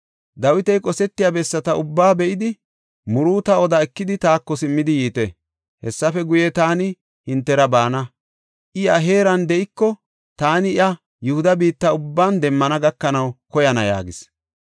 Dawiti qosetiya bessata ubbaa be7idi, muruuta oda ekidi taako simmidi yiite. Hessafe guye, taani hintera baana; I he heeran de7iko, taani iya Yihuda biitta ubban demmana gakanaw koyana” yaagis.